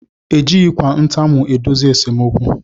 Ejighi ntamu edozi esemokwu